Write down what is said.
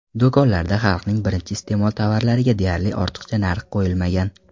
Do‘konlarda xalqning birinchi iste’mol tovarlariga deyarli ortiqcha narx qo‘yilmagan.